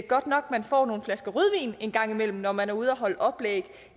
godt nok at man får nogle flasker rødvin en gang imellem når man er ude og holde oplæg